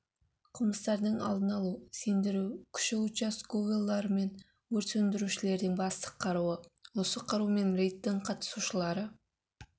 қылмыстардың алдын алу сендіру күші участковыйлар мен өрт сөндірушілердің басты қаруы осы қарумен рейдтің қатысушылары